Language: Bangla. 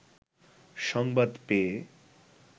সংবাদ পেয়ে